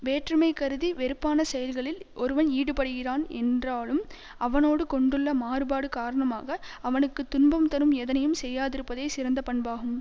வேற்றுமை கருதி வெறுப்பான செயல்களில் ஒருவன் ஈடுபடுகிறான் என்றாலும் அவனோடு கொண்டுள்ள மாறுபாடு காரணமாக அவனுக்கு துன்பம் தரும் எதனையும் செய்யாதிருப்பதே சிறந்த பண்பாகும்